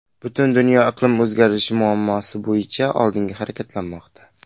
Butun dunyo iqlim o‘zgarishi muammosi bo‘yicha oldinga harakatlanmoqda.